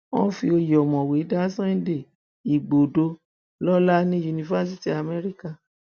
wọn fi oyè ọmọwé dá sunday igbodò lọlá ní yunifásitì amẹríkà